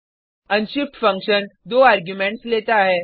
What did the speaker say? unshift function 2 arguments लेता है